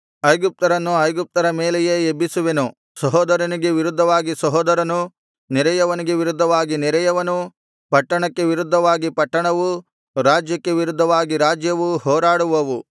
ಐಗುಪ್ತರನ್ನು ಐಗುಪ್ತ್ಯರ ಮೇಲೆಯೇ ಎಬ್ಬಿಸುವೆನು ಸಹೋದರನಿಗೆ ವಿರುದ್ಧವಾಗಿ ಸಹೋದರನು ನೆರೆಯವನಿಗೆ ವಿರುದ್ಧವಾಗಿ ನೆರೆಯವನೂ ಪಟ್ಟಣಕ್ಕೆ ವಿರುದ್ಧವಾಗಿ ಪಟ್ಟಣವೂ ರಾಜ್ಯಕ್ಕೆ ವಿರುದ್ಧವಾಗಿ ರಾಜ್ಯವೂ ಹೋರಾಡುವವು